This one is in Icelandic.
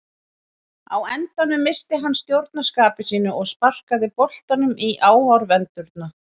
Á endanum missti hann stjórn á skapi sínu og sparkaði boltanum í áhorfendurna.